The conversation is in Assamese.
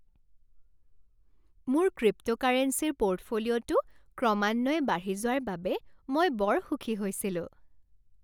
মোৰ ক্ৰিপ্ট'কাৰেঞ্চীৰ পোৰ্টফলিঅ'টো ক্ৰমান্বয়ে বাঢ়ি যোৱাৰ বাবে মই বৰ সুখী হৈছিলোঁ।